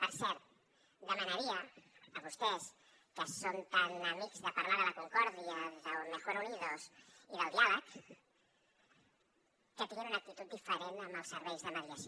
per cert demanaria a vostès que són tan amics de parlar de la concòrdia del mejor unidos i del diàleg que tinguin una actitud diferent amb els serveis de mediació